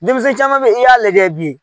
Denmisɛn caman be yen i y'a lajɛ bi